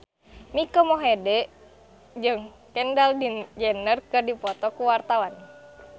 Mike Mohede jeung Kendall Jenner keur dipoto ku wartawan